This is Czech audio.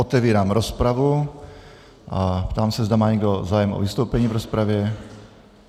Otevírám rozpravu a ptám se, zda má někdo zájem o vystoupení v rozpravě.